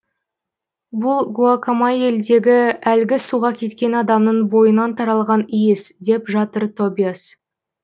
бұл гуакамайяльдегі әлгі суға кеткен адамның бойынан таралған иіс деп жатыр тобиас